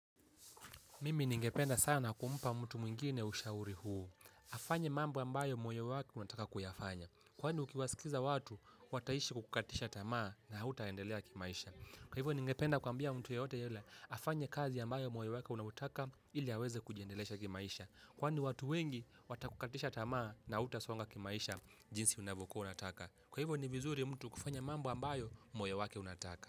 Mimi ningependa sana kumpa mtu mwingine ushauri huu. Afanye mambo ambayo moyo wake unataka kuyafanya. Kwani ukiwasikiza watu, wataishi kukukatisha tamaa na hautaendelea kimaisha. Kwa hivyo ni ngependa kuambia mtu yoyote yule, afanye kazi ambayo moyo wake unaotaka ili aweze kujiendelesha kimaisha. Kwani watu wengi, watakukatisha tamaa na hautasonga kimaisha jinsi unavyokuwa unataka. Kwa hivyo ni vizuri mtu kufanya mambu ambayo mwoyewake unataka.